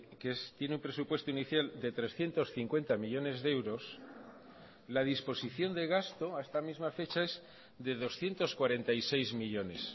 que tiene un presupuesto inicial de trescientos cincuenta millónes de euros la disposición de gasto a esta misma fecha es de doscientos cuarenta y seis millónes